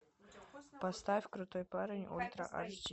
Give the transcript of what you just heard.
поставь крутой парень ультра эйч ди